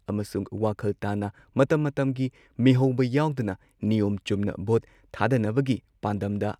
ꯑꯃꯁꯨꯡ ꯋꯥꯈꯜ ꯇꯥꯅ ꯃꯇꯝ ꯃꯇꯝꯒꯤ ꯃꯤꯍꯧꯕ ꯌꯥꯎꯗꯅ ꯅꯤꯌꯣꯝ ꯆꯨꯝꯅ ꯚꯣꯠ ꯊꯥꯗꯅꯕꯒꯤ ꯄꯥꯟꯗꯝꯗ